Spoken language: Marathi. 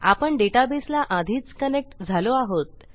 आपण डेटाबेसला आधीच कनेक्ट झालो आहोत